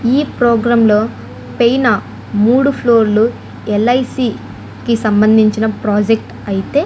ఈ ప్రోగ్రాం లో పెయినా మూడు ఫ్లోర్ లు ఎల్_ఐ_సి కి సంబంధించిన ప్రాజెక్ట్ అయితే --